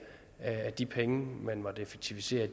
at de penge man måtte effektivisere